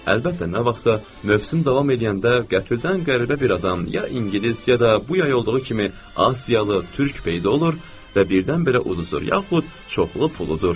Əlbəttə, nə vaxtsa mövsüm davam eləyəndə qəfildən qəribə bir adam ya ingilis, ya da bu yay olduğu kimi asiyalı, türk peyda olur və birdən-birə uduzur, yaxud çoxlu pul udur.